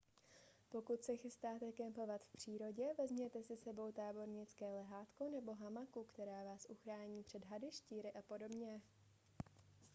pokud se chystáte kempovat v přírodě vezměte si s sebou tábornické lehátko nebo hamaku která vás uchrání před hady štíry a podobně